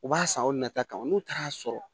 U b'a san aw nata kan n'u taara sɔrɔ